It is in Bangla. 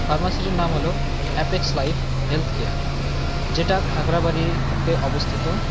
ফার্মাসিটির -টির নাম হল অ্যাপেক্সলাইফ হেল্থ কেয়ার যেটা খাগড়াবাড়িতে অবস্থিত।